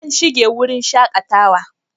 An shinge wurin shakatawa